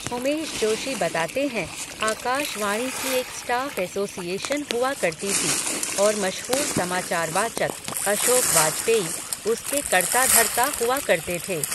उमेश जोशी बताते हैं, आकाशवाणी की एक स्टाफ़ एसोसिएशन हुआ करती थी, और मशहूर समाचार वाचक, अशोक वाजपेई, उसके कर्ता धर्ता हुआ करते थे.